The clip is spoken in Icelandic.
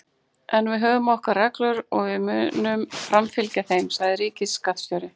En við höfum okkar reglur og við munum framfylgja þeim, sagði ríkisskattstjóri